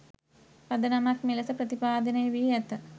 පදනමක් මෙලෙස ප්‍රතිපාදනය වී ඇත.